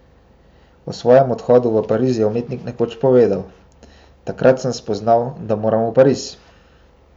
O svojem odhodu v Pariz je umetnik nekoč povedal: 'Takrat sem spoznal, da moram v Pariz.